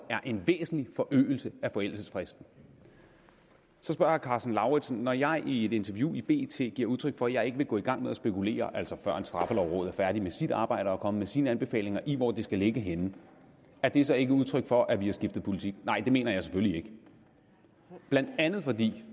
er en væsentlig forøgelse af forældelsesfristen så spørger herre karsten lauritzen når jeg i et interview i bt giver udtryk for at jeg ikke vil gå i gang med at spekulere altså før straffelovrådet er færdig med sit arbejde og med sine anbefalinger i hvor det skal ligge henne er det så ikke udtryk for at vi har skiftet politik nej det mener jeg selvfølgelig ikke blandt andet fordi